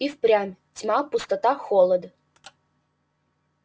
и впрямь тьма пустота холод